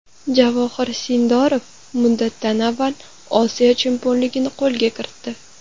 Javohir Sindorov muddatidan avval Osiyo chempionligini qo‘lga kiritdi.